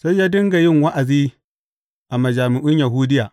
Sai ya dinga yin wa’azi a majami’un Yahudiya.